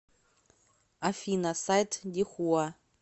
афина сайт дихуа